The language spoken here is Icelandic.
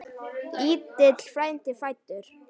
Lítill frændi fæddur.